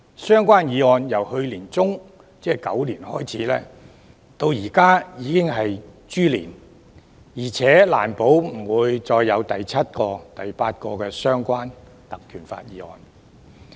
相關議案由去年年中，即狗年開始提出，現時已經來到豬年，而且也難保之後不會再有第七、第八個根據《條例》動議的相關議案。